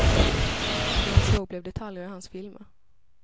Det han såg blev detaljer i hans filmer.